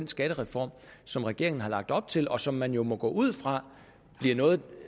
skattereform som regeringen har lagt op til og som man jo må gå ud fra bliver noget